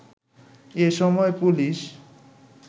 এসময় পুলিশ